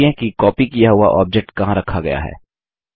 जाँचिये कि कॉपी किया हुआ ऑब्जेक्ट कहाँ रखा गया है